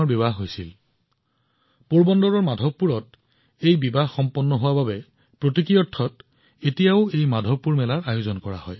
বিবাহখন পোৰবন্দৰৰ মাধৱপুৰত হৈছিল আৰু এই বিবাহৰ প্ৰতীক হিচাপে মাধৱপুৰ মেলা এতিয়াও তাত অনুষ্ঠিত হয়